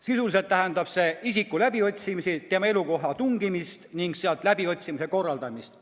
Sisuliselt tähendab see isiku läbiotsimist, tema elukohta tungimist ning seal läbiotsimise korraldamist.